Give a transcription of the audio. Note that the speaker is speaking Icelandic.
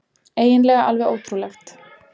Eiginlega alveg ótrúlegt.